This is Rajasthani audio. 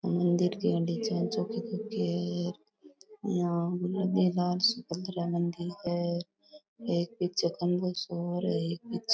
मंदिर के आगे यहाँ मैदान सी बन रा है मंदिर सो एक पीछे खम्भों सो और है एक पीछे --